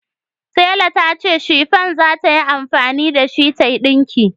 Tela ta ce shifan za ta yi amfani da shi tayi dinki